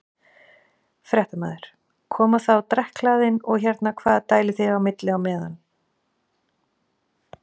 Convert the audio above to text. Fréttamaður: Koma þá drekkhlaðin og hérna hvað dælið þið á milli eða?